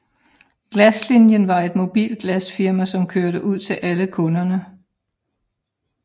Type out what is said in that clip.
Glaslinien var et mobilt glasfirma som kørte ud til alle kunderne